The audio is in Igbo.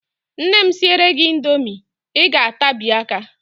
Nne m siere gị indomi, Ị ga-atabi aka.